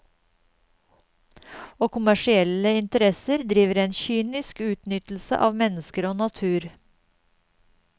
Og kommersielle interesser driver en kynisk utnyttelse av mennesker og natur.